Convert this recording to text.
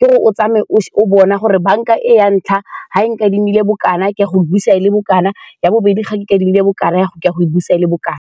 ke'ore o tsamaye o ntse o bona gore banka e ya ntlha ga e nkadimile bokana ke ya go e busa e le bokana, ya bobedi ga e nkadimile bokana ke ya go e busa e le bokana.